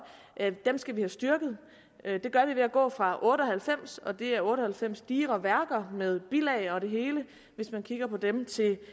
at dem skal vi have styrket det gør vi ved at gå fra otte og halvfems og det er otte og halvfems digre værker med bilag og det hele hvis man kigger på dem indtil